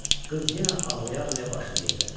Qız yenə ağlaya-ağlaya başını yellədi.